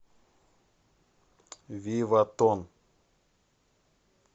виватон